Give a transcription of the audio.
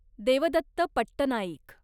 Devdatt Pattanaik